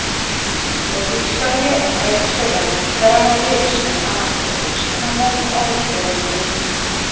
O‘zbekistonga Rossiyadan koronavirusni aniqlovchi uskunalar olib kelindi.